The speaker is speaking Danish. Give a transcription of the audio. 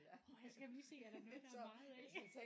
Årh ja så skal man lige se er der noget der er meget af